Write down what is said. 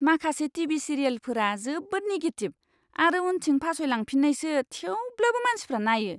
माखासे टि.भि. सिरियेलफोरा जोबोद निगेटिभ आरो उनथिं फासयलांफिन्नायसो थेवब्लाबो मानसिफ्रा नायो!